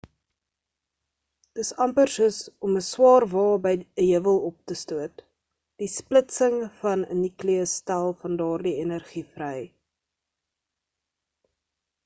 dis amper soos om 'n swaar wa by 'n heuwel op te stoot die splitsing van 'n nukleus stel van daardie energie vry